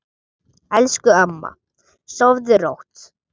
Elsku amma, sofðu rótt.